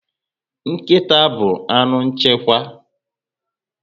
Nkịta bu anụ nchekwa